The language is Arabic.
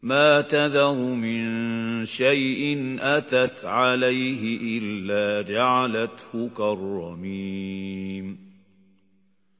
مَا تَذَرُ مِن شَيْءٍ أَتَتْ عَلَيْهِ إِلَّا جَعَلَتْهُ كَالرَّمِيمِ